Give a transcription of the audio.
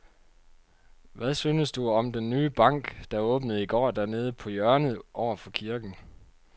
Hvad synes du om den nye bank, der åbnede i går dernede på hjørnet over for kirken?